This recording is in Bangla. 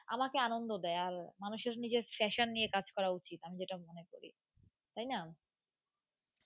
আমাকে আনন্দ দেয় আর মানুষের নিজের fashion নিয়ে কাজ করা উচিত. আমি যেটা মনে করি তাই না,